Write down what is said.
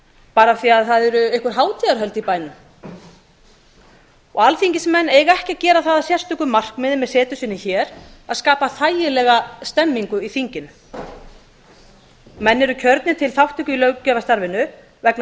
bara af því að það eru einhver hátíðahöld í bænum og alþingismenn eiga ekki að gera það að sérstöku markmiði með setu sinni hér að skapa þægilega stemningu í þinginu menn eru kjörnir til þátttöku í löggjafarstarfinu vegna